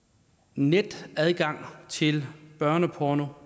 netadgang til børneporno